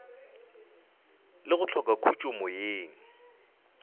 le go hloka khutšo moyeng